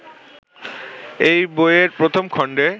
এই বইয়ের প্রথম খণ্ডে